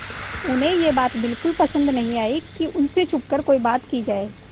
उन्हें यह बात बिल्कुल पसन्द न आई कि उन से छुपकर कोई बात की जाए